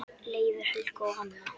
Leifur, Helga og Hanna.